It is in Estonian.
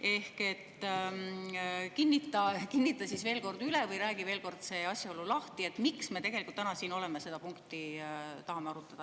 Ehk kinnita siis veel kord üle või räägi veel kord see asjaolu lahti, miks me täna siin oleme ja seda punkti tahame arutada.